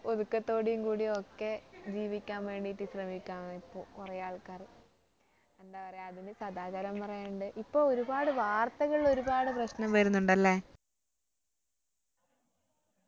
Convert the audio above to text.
ഒതുക്കത്തോടെയും കൂടി ഒക്കെ ജീവിക്കാൻ വേണ്ടീട്ട്‍ ശ്രമിക്കാൻ ഇപ്പൊ കുറേ ആൾക്കാര് എന്താ പറയ അതിന് സദാചാരം പറയാറുണ്ട് ഇപ്പൊ ഒരുപാട് വാർത്തകളിൽ ഒരുപാട് പ്രശ്നം വരുന്നുണ്ട് അല്ലേ